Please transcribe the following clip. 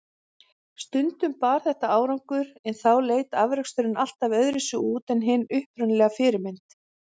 Stundum bar þetta árangur, en þá leit afraksturinn alltaf öðruvísi út en hin upprunalega fyrirmynd.